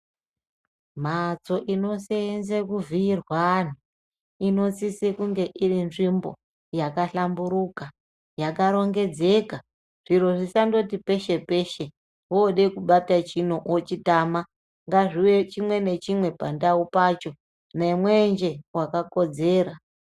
Mlhatso inoseenze kuvhiyirwa vlantu inosise kunge iri nzvimbo yakahlamburika yakarongedzeka zviro zvisandoti peshe peshe wode kubate chino wochitama ngazvive chimwe nechimwe pandau pacho nemwenje wakakodzera.